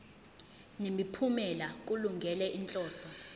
nemiphumela kulungele inhloso